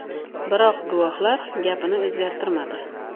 Biroq guvohlar gapini o‘zgartirmadi.